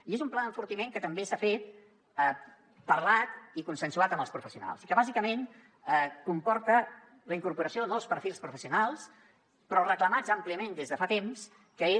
i és un pla d’enfortiment que també s’ha fet parlat i consensuat amb els professionals i que bàsicament comporta la incorporació de nous perfils professionals però reclamats àmpliament des de fa temps que és